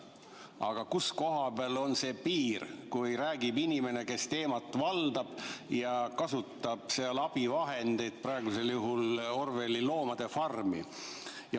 Aga kus koha peal on see piir, kui räägib inimene, kes teemat valdab ja kasutab seal abivahendeid, praegusel juhul Orwelli "Loomade farmi"?